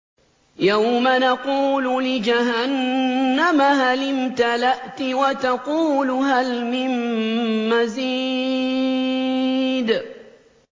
يَوْمَ نَقُولُ لِجَهَنَّمَ هَلِ امْتَلَأْتِ وَتَقُولُ هَلْ مِن مَّزِيدٍ